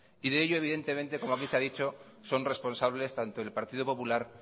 y de ello evidentemente como aquí se ha dicho son responsables tanto el partido popular